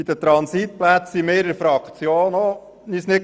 Bei den Transitplätzen waren wir uns in der Fraktion nicht einig.